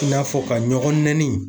I n'a fɔ ka ɲɔgɔn nɛni.